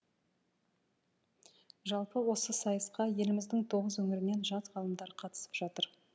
жалпы осы сайысқа еліміздің тоғыз өңірінен жас ғалымдар қатысып жатыр